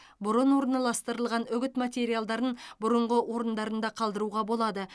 бұрын орналастырылған үгіт материалдарын бұрынғы орындарында қалдыруға болады